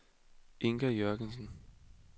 Inga Jürgensen